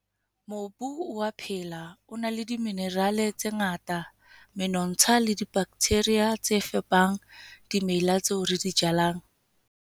Mobu o a phela, o na le diminerale tse ngata, menontsha le dibaktheria tse fepang dimela tseo re di jalang.